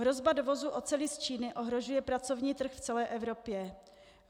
Hrozba dovozu oceli z Číny ohrožuje pracovní trh v celé Evropě.